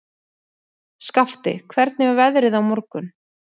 Skafti, hvernig er veðrið á morgun?